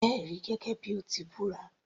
Jẹ́ ẹ̀rí gẹ́gẹ́ bíi o ti búra